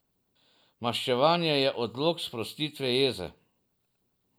Maščevanje je odlog sprostitve jeze.